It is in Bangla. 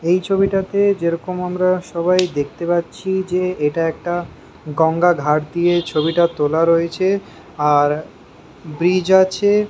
এই ছবিটাতে যেরকম আমরা সবাই দেখতে পাচ্ছি যে এটা একটা গঙ্গা র ধার দিয়ে ছবিটা তোলা রয়েছে আর ব্রিজ আছে।